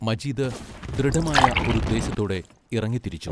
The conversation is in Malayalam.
മജീദ് ദൃഢമായ ഒരുദ്ദേശത്തോടെ ഇറങ്ങിത്തിരിച്ചു.